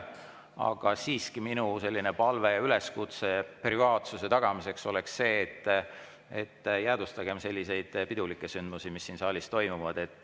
Aga siiski minu palve ja üleskutse privaatsuse tagamiseks oleks see, et jäädvustagem pidulikke sündmusi, mis siin saalis toimuvad.